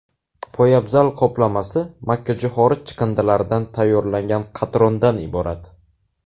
Poyabzal qoplamasi makkajo‘xori chiqindilaridan tayyorlangan qatrondan iborat.